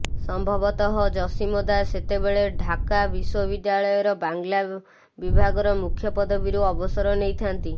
ସମ୍ଭବତଃ ଜସିମଦା ସେତେବେଳେ ଢାକା ବିଶ୍ୱବିଦ୍ୟାଳୟର ବାଂଲା ବିଭାଗର ମୂଖ୍ଯ ପଦବୀରୁ ଅବସର ନେଇଥାନ୍ତି